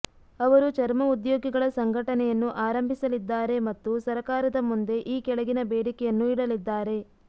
ಅವರು ಚರ್ಮ ಉದ್ಯೋಗಿಗಳ ಸಂಘಟನೆಯನ್ನು ಆರಂಭಿಸಲಿದ್ದಾರೆ ಮತ್ತು ಸರಕಾರದ ಮುಂದೆ ಈ ಕೆಳಗಿನ ಬೇಡಿಕೆಯನ್ನು ಇಡಲಿದ್ದಾರೆ